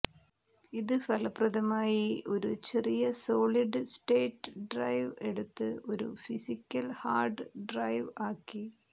ഇത് ഫലപ്രദമായി ഒരു ചെറിയ സോളിഡ് സ്റ്റേറ്റ് ഡ്രൈവ് എടുത്തു് ഒരു ഫിസിക്കൽ ഹാർഡ് ഡ്രൈവ് ആക്കി